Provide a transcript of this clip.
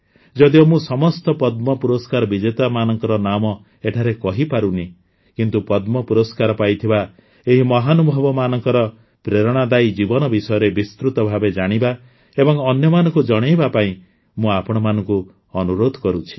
ଯଦିଓ ମୁଁ ସମସ୍ତ ପଦ୍ମ ପୁରସ୍କାର ବିଜେତାମାନଙ୍କ ନାମ ଏଠାରେ କହିପାରୁନାହିଁ କିନ୍ତୁ ପଦ୍ମ ପୁରସ୍କାର ପାଇଥିବା ଏହି ମହାନୁଭାବମାନଙ୍କ ପ୍ରେରଣାଦାୟୀ ଜୀବନ ବିଷୟରେ ବିସ୍ତୃତ ଭାବେ ଜାଣିବା ଏବଂ ଅନ୍ୟମାନଙ୍କୁ ଜଣାଇବା ପାଇଁ ମୁଁ ଆପଣମାନଙ୍କୁ ଅନୁରୋଧ କରୁଛି